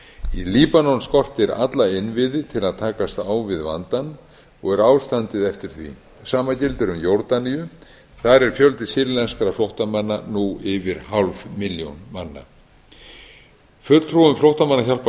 í líbanon skortir alla innviði til að takast á við vandann og er ástandið eftir því sama gildir um jórdaníu þar er fjöldi sýrlenskra flóttamanna nú yfir hálf milljón manna fulltrúum flóttamannahjálpar